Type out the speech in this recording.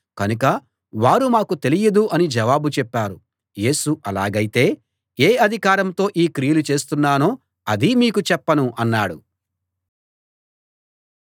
కనుక వారు మాకు తెలియదు అని జవాబు చెప్పారు యేసు అలాగైతే ఏ అధికారంతో ఈ క్రియలు చేస్తున్నానో అదీ మీకు చెప్పను అన్నాడు